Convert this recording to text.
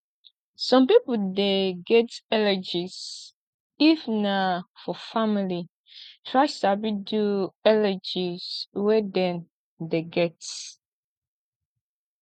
some pipo dey get allergies if na for family try sabi do allergies wey dem dey get